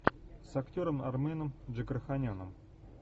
с актером арменом джигарханяном